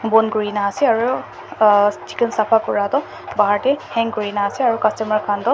bon kurina ase aru ah chicken sapha kuraa toh bahar te hang kurina ase aru customer khan toh.